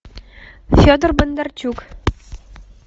федор бондарчук